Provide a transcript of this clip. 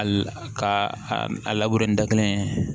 A la ka a labure da kelen